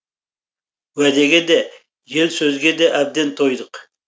уәдеге де жел сөзге де әбден тойдық